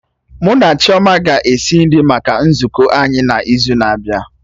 Mụ na Chioma ga-esi nri maka nzukọ anyị n'izu na-abịa